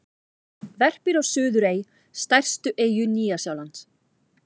Verpir á Suðurey, stærstu eyju Nýja-Sjálands.